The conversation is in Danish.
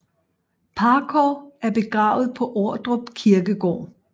Parkov er begravet på Ordrup Kirkegård